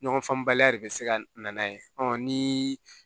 Ɲɔgɔn faamubaliya de bɛ se ka na ye ni